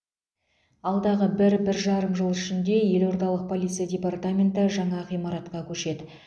алдағы бір бір жарым жыл ішінде елордалық полиция департаменті жаңа ғимаратқа көшеді